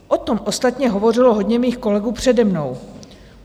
O tom ostatně hovořilo hodně mých kolegů přede mnou.